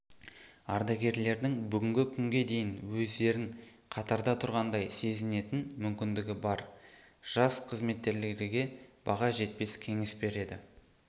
ардагерлердің бүгінгі күнге дейін өздерін қатарда тұрғандай сезінетін мүмкіндігі бар жас қызметкерлерге баға жетпес кеңес береді